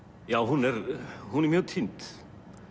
já hún er hún er mjög týnd